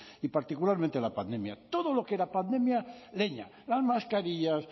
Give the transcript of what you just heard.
y particularmente la pandemia todo lo que era pandemia leña las mascarillas